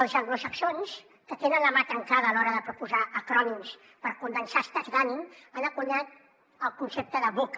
els anglosaxons que tenen la mà trencada a l’hora de proposar acrònims per condensar estats d’ànim han encunyat el concepte de vuca